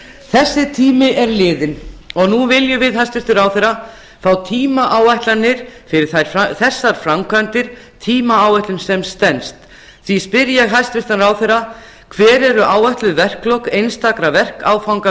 þessi tími er liðinn og nú viljum við hæstvirtan ráðherra fá tímaáætlanir fyrir þessar framkvæmdir tímaáætlun sem stenst því spyr ég hæstvirtan ráðherra fyrstu hvenær eru áætluð verklok einstakra verkáfanga